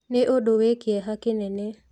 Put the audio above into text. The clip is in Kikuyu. Nĩ ũndũ wĩ kĩeha kĩnene